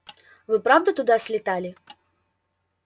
вы правда туда слетали